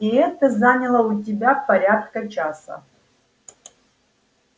и это заняло у тебя порядка часа